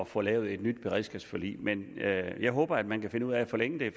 få lavet et nyt beredskabsforlig men jeg håber at man kan finde ud af at forlænge det